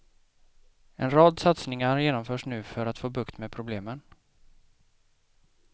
En rad satsningar genomförs nu för att få bukt med problemen.